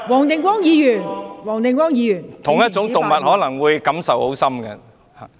同屬一種動物，可能感受很深。